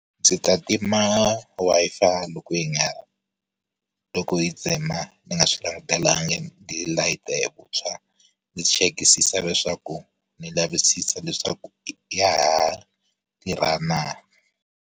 Ndzi ta tima Wi-Fi loko yi nga ha loko yi tsema, ni nga swi langutelangi, ni layita hi vuntshwa. Ni chekisisa leswaku, ni lavisisa leswaku ya ha tirha na?